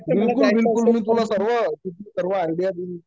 बिलकुल बिलकुल, मी तुला सर्व, सर्व आयडिया देईल